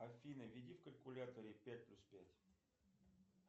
афина введи в калькуляторе пять плюс пять